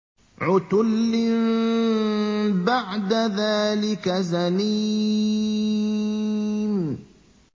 عُتُلٍّ بَعْدَ ذَٰلِكَ زَنِيمٍ